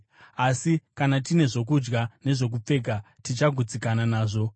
Asi kana tine zvokudya nezvokupfeka, tichagutsikana nazvo.